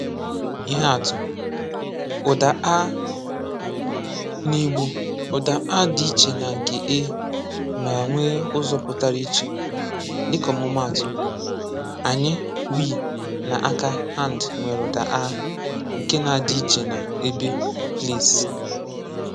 Ihe atụ: Ụ̀dà “a”: Na Igbo, ụ̀dà “a” dị iche na nke “e” ma nwee ụzọ pụtara iche. Dịka ọmụmaatụ, “ànyị” (we) na “àkà” (hand) nwere ụ̀dà “a” nke na-adị iche na “ébé” (place).